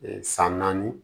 san naani